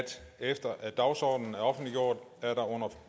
efter at dagsordenen er offentliggjort er der